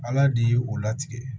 Ala de ye o latigɛ